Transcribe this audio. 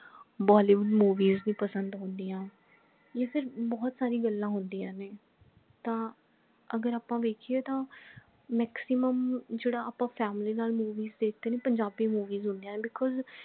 bollywood movies ਨਹੀਂ ਪਸੰਦ ਹੁੰਦੀਆਂ ਇਹ ਸਬ ਬਹੁਤ ਸਾਰੀਆਂ ਗੱਲਾਂ ਹੁੰਦੀਆਂ ਨੇ ਤਾਂ ਅਗਰ ਆਪਾ ਵੇਖੀਏ ਤਾਂ maximum ਜੇਦਾ ਆਪਾ family ਨਾਲ movies ਦੇਖਦੇ ਨੇ ਪੰਜਾਬੀ movies ਹੁੰਦੀਆਂ ਨੇ because